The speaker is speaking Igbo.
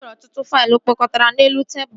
E nwere ọtụtụ faịlụ kpọkọtara n'elu tebụl